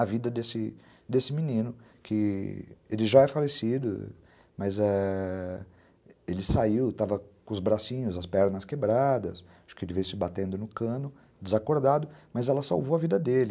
a vida desse desse menino, que ele já é falecido, mas ãh ele saiu, estava com os bracinhos, as pernas quebradas, acho que ele veio se batendo no cano, desacordado, mas ela salvou a vida dele.